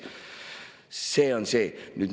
See on see.